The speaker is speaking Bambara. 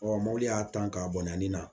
Ɔ mobili y'a tan a bɔnna nin na